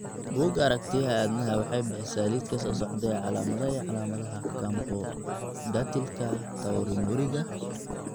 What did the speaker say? Bugga Aragtiyaha Aanadanaha waxay bixisaa liiska soo socda ee calaamadaha iyo calaamadaha Camptodactylka taurinuriga.